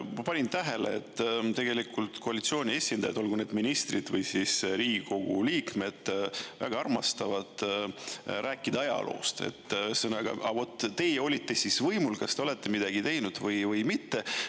Ma panin tähele, et tegelikult koalitsiooni esindajad, olgu need ministrid või siis Riigikogu liikmed, väga armastavad rääkida ajaloost, ühesõnaga, vot teie olite siis võimul, kas te olete midagi teinud või mitte.